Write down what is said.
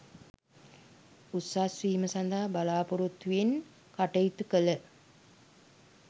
උසස් වීම සඳහා බලාපොරොත්තු වෙන් කටයුතු කළ